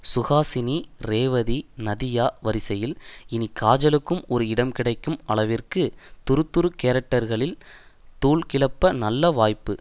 சுஹாசினி ரேவதி நதியா வரிசையில் இனி காஜலுக்கும் ஒரு இடம் கிடைக்கும் அளவிற்கு துறு துறு கேரக்டரில் தூள் கிளப்ப நல்ல வாய்ப்பு